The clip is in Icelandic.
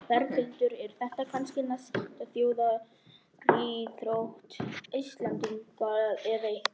Berghildur, er þetta kannski næsta þjóðaríþrótt Íslendinga eða hvað?